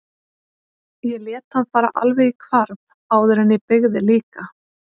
Ég lét hann fara alveg í hvarf áður en ég beygði líka.